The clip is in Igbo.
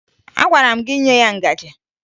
Agwara m gị nye ya ngaji!